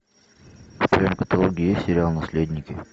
в твоем каталоге есть сериал наследники